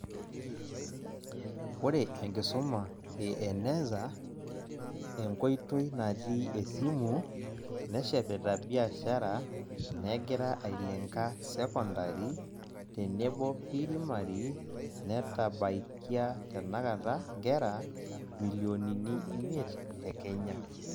Ore enkisuma eEneza, enkoitoi natii esimu, neshepita biashara negira ailenga sekondari, tenebo pirimari, netabaikia tenakata nkera milionini imiet te Kenya.